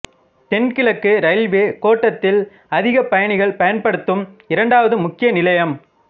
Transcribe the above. தென்கிழக்கு ரயில்வே கோட்டத்தில் அதிக பயணிகள் பயன்படுத்தும் இரண்டாவது முக்கிய நிலையம்